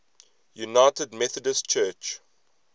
united methodist church